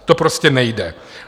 To prostě nejde.